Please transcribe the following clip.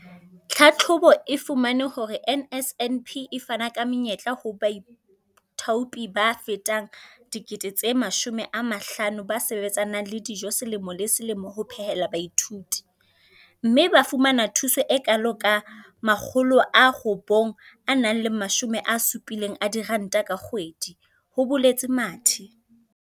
"Tlhahlobo e fumane hore NSNP e fana ka menyetla ho baithaopi ba fetang 50 000 ba sebetsanang le dijo selemo le selemo ho phehela baithuti, mme ba fumana thuso e kalo ka R960 ka kgwedi," ho boletse Mathe.